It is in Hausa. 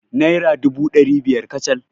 Naira dubu ɗari biyar kacal.